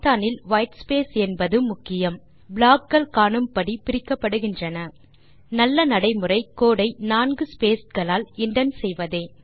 Python இல் whitespace என்பது முக்கியம் ப்ளாக் கள் காணும்படி பிரிக்கப்படுகின்றன நல்ல நடை முறை கோடு ஐ நான்கு ஸ்பேஸ் களால் இண்டென்ட் செய்வதே